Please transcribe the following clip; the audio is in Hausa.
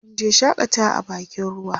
munje shakatawa a bakin ruwa